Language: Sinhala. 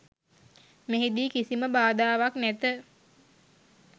මෙහිදී කිසිම බාධාවක් නැත.